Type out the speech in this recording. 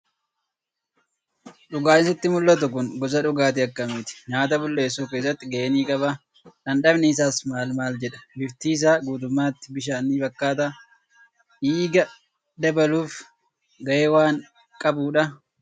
Dhugaatiin sitti mul'atu kun gosa dhugaatii akkamiiti? Nyaata bulleessuu keessatti gahee ni qabaa? Dhamdhamni isaas maal maal jedha? Bifti isaa guutummaatti bishaan ni fakkaataa? Dhiiga dabaluuf gahee waan qabu dhaa?